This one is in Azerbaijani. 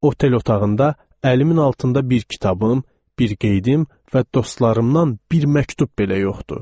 Otel otağında əlimin altında bir kitabım, bir qeydim və dostlarımdan bir məktub belə yoxdur.